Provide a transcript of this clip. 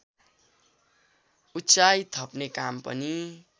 उचाई थप्ने काम पनि